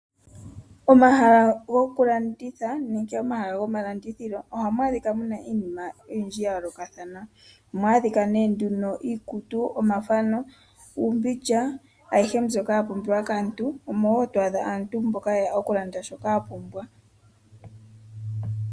Omahala goku landitha nenke omahala gomalandithilo ohamu adhika muna iinima oyindji ya yoolokathana ohamu adhika ne nduno iikutu, omathano ,uumbindja ayihe mbyoka ya pumbiwa kaantu omowo to adha aantu mboka yeya oku landa shoka ya pumbwa.